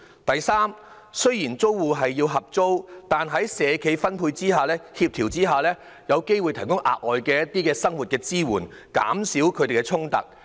第三，雖然租戶需要合租單位，但在社企的配對及協調下，他們有機會獲提供一些額外生活支援，減少與其他租戶的衝突。